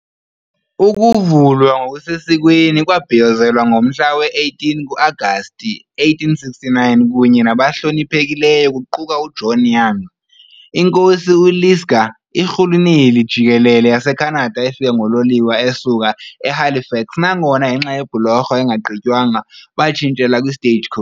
Ukuvulwa ngokusesikweni kwabhiyozelwa ngomhla we-18 ku-Agasti 1869 kunye nabahloniphekileyo kuquka uJohn Young, iNkosi uLisgar, iRhuluneli Jikelele yaseKhanada efika ngololiwe esuka eHalifax nangona ngenxa yebhulorho engagqitywanga batshintshela kwi- stagecoach